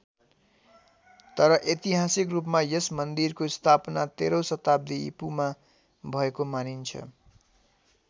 तर ऐतिहासिक रूपमा यस मान्दिरको स्थापना तेह्रौँ शताब्दी इपू मा भएको मानिन्छ।